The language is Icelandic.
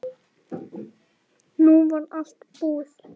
Nú var allt búið.